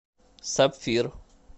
сапфир